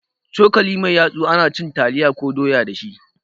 Cokali mai yatsu ana cin taliya ko doya dashi